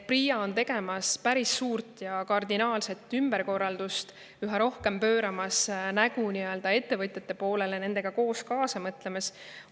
PRIA-s tehakse päris suuri ja kardinaalseid ümberkorraldusi, üha rohkem pööratakse nägu ettevõtjate poole ja mõeldakse nendega kaasa.